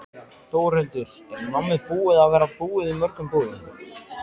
Þórhildur: Er nammið búið að vera búið í mörgum búðum?